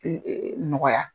nɔgɔya.